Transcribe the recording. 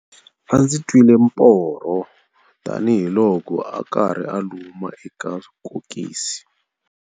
A ndzi twile Mphorho tanihiloko a karhi a luma eka kokisi.